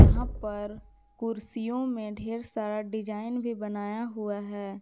यहां पर कुर्सियों में ढ़ेर सारा डिजाइन भी बनाया हुआ है।